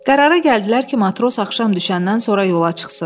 Qərara gəldilər ki, matros axşam düşəndən sonra yola çıxsın.